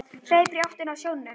Hleypur í áttina að sjónum.